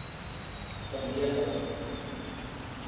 verneging